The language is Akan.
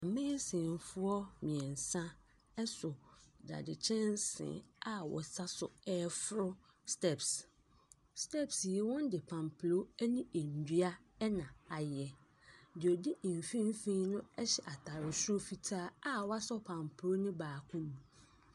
Maisofoɔ mmiɛnsa so dadekyɛnsee a wɔsan reforo steps. Steps yi wɔde mpampuro ne nnua na ayɛ. Deɛ ɔdi mfimfini no hyɛ ataare soro fitaa a wasɔ mpampuro no baako mu.